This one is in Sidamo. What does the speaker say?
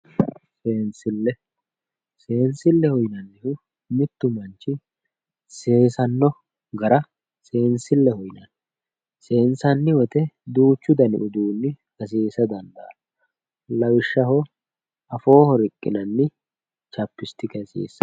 seensille seensilleho yinanniri kuri uduunnichi seesanno gara seensilleho seensanni woyite duuchu dani uduuni hasiisa dandaanno lawishshaho afooho riqqinanni chapistike hasiissanno